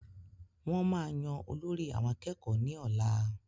Wọ́n máa yan olórí àwọn akẹ́kọ̀ọ́ ní ọ̀la